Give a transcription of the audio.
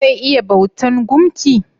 Zai iya bautan gumki?